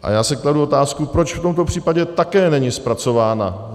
A já si kladu otázku, proč v tomto případě také není zpracována.